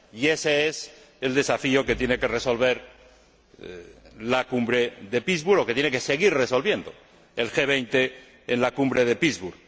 Y ése es el desafío que tiene que resolver la Cumbre de Pittsburgh, o que tiene que seguir resolviendo el G 20 en la Cumbre de Pittsburgh.